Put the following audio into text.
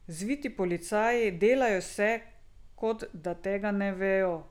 Zviti policaji, delajo se, kot da tega ne vejo.